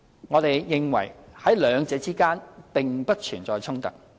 我們認為在兩者並不存在衝突。